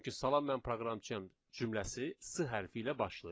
Çünki salam mən proqramçıyam cümləsi s hərfi ilə başlayır.